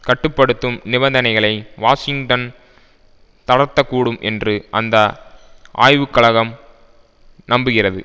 கட்டு படுத்தும் நிபந்தனைகளை வாஷிங்டன் தளர்த்த கூடும் என்று அந்த ஆய்வுக்கழகம் நம்புகிறது